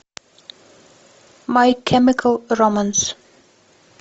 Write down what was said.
май кемикал романс